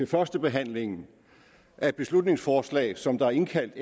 førstebehandlingen af et beslutningsforslag som der er indkaldt